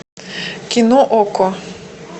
кино окко